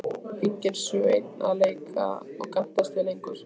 Enginn Sveinn að leika og gantast við lengur.